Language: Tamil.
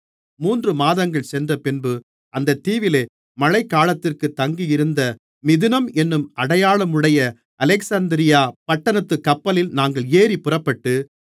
மூன்று மாதங்கள் சென்றபின்பு அந்தத் தீவிலே மழைகாலத்திற்கு தங்கியிருந்த மிதுனம் என்னும் அடையாளமுடைய அலெக்சந்திரியா பட்டணத்துக் கப்பலில் நாங்கள் ஏறிப் புறப்பட்டு